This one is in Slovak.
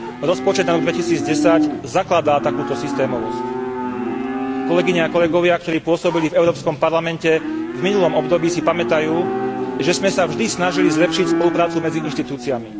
Rozpočet na rok 2010 zakladá takúto systémovosť. Kolegyne a kolegovia, ktorí pôsobili v Európskom parlamente v minulom období, si pamätajú, že sme sa vždy snažili zlepšiť spoluprácu medzi inštitúciami.